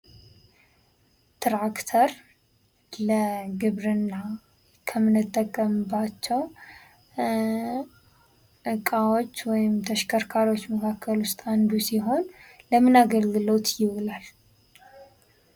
ትራክተር ለግብርና ከምንጠቀምባቸው እቃዎች ወይም ተሽከርካሪዎች መካከል ውስጥ አንዱ ሲሆን ለምን አገልግሎት ይውላል?